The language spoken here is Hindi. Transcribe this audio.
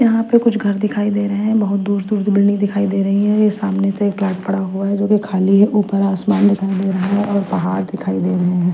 यहां पे कुछ घर दिखाई दे रहे हैं बहोत दूर दुर की बिल्डिंग दिखाई दे रही हैं ये सामने से फ्लैट पड़ा हुआ है जोकि खाली है ऊपर आसमान दिखाई दे रहा है और पहाड़ दिखाई दे रहे हैं।